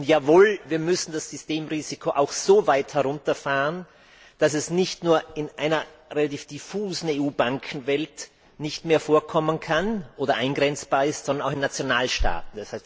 Und jawohl, wir müssen das Systemrisiko auch so weit herunterfahren, dass es nicht nur in einer relativ diffusen EU Bankenwelt nicht mehr vorkommen kann oder eingrenzbar ist, sondern auch in Nationalstaaten.